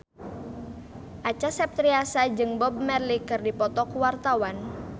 Acha Septriasa jeung Bob Marley keur dipoto ku wartawan